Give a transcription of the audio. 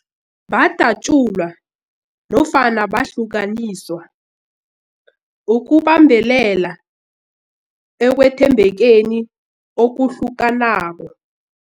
Badatjulwa nofana bahlukaniswa ukubambelela ekwethembekeni okuhlukanako.